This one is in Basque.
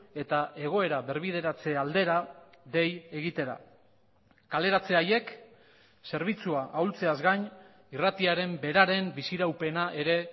eta egoera berbideratze aldera dei egitera kaleratze haiek zerbitzua ahultzeaz gain irratiaren beraren bizi iraupena ere